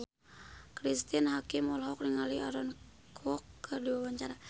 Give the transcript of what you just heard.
Cristine Hakim olohok ningali Aaron Kwok keur diwawancara